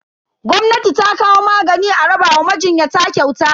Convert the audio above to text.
Gwamnati ta kawo magani a raba wa majinyata kyauta.